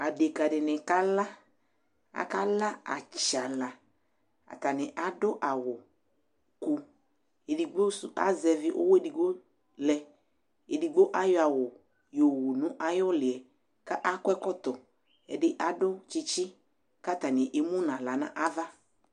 Adekǝ dɩnɩ kala Akala atsana Atanɩ adʋ awʋku Edigbo sʋ azɛvɩ ʋɣɔ edigbo lɛ, edigbo ayɔ awʋ yɔwu nʋ ayʋ ʋlɩ yɛ kʋ akɔ ɛkɔtɔ Ɛdɩ adʋ tsɩtsɩ kʋ atanɩ emu nʋ aɣla nʋ ava